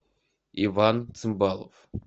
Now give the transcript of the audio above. иван цимбалов